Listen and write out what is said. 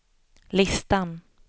listan